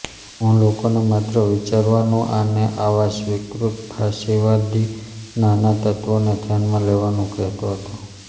હું લોકોને માત્ર વિચારવાનું આને આવા સ્વીકૃત ફાશીવાદી નાના તત્ત્વોને ધ્યાનમાં લેવાનું કહેતો હતો